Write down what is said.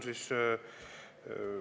Aitäh!